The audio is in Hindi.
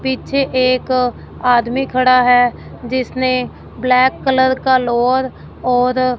पीछे एक आदमी खड़ा है जिसने ब्लैक कलर का लोवर और --